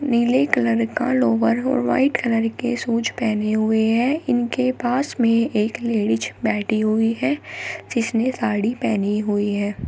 नीले कलर के लोवर और व्हाइट कलर के शूज पहने हुए है इनके पास मे एक लेडिस बैठी हुई है जिसने साड़ी पहनी हुई है।